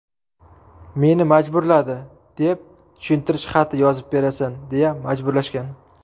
meni majburladi”, deb tushuntirish xati yozib berasan deya majburlashgan.